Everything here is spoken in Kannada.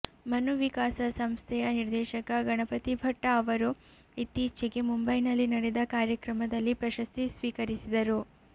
ಮನುವಿಕಾಸ ಸಂಸ್ಥೆಯ ನಿರ್ದೇಶಕ ಗಣಪತಿ ಭಟ್ಟ ಅವರು ಇತ್ತೀಚೆಗೆ ಮುಂಬೈನಲ್ಲಿ ನಡೆದ ಕಾರ್ಯಕ್ರಮದಲ್ಲಿ ಪ್ರಶಸ್ತಿ ಸ್ವೀಕರಿಸಿದರು